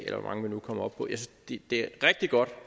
hvor mange vi nu kommer op på det er rigtig godt